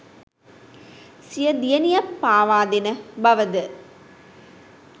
සිය දියණිය පාවාදෙන බව ද